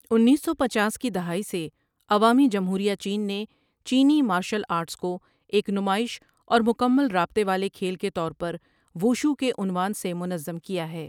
انیس سو پنچاس کی دہائی سے عوامی جمہوریہ چین نے چینی مارشل آرٹس کو ایک نمائش اور مکمل رابطے والے کھیل کے طور پر 'ووشُو' کے عنوان سے منظم کیا ہے۔